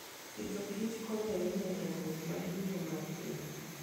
Agriculture and Food konyo ahinya e dongruok mar yuto mar piny.